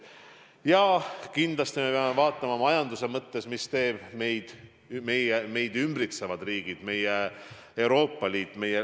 Ja kindlasti peame vaatama majanduse mõttes, mida teevad meid ümbritsevad riigid, meie Euroopa Liit.